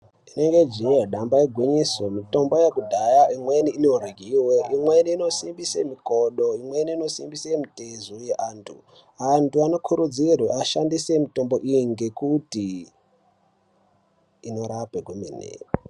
Rinenge jiee damba igwinyiso mitombo yekudhaya imweni inoryiwe imweni inosimbise mikodo imweni inosimbise mitezo yeantu antu anokurudzirwa ashandise mitombo iyi ngekuti inorape kwemene.